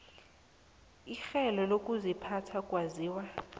werhelo lokuziphatha kwaziwa